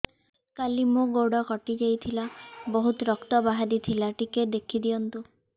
କାଲି ମୋ ଗୋଡ଼ କଟି ଯାଇଥିଲା ବହୁତ ରକ୍ତ ବାହାରି ଥିଲା ଟିକେ ଦେଖି ଦିଅନ୍ତୁ